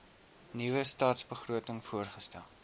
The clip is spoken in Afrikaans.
nuwe stadsbegroting voorgestel